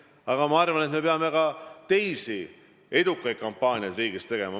Samas ma arvan ka, et me peame teisigi edukaid kampaaniaid riigis tegema.